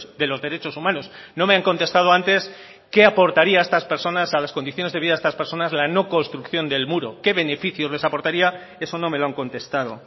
de los derechos humanos no me han contestado antes qué aportaría a estas personas a las condiciones de vida de estas personas la no construcción del muro qué beneficios les aportaría eso no me lo han contestado